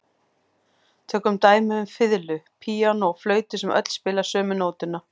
Tökum dæmi um fiðlu, píanó og flautu sem öll spila sömu nótuna.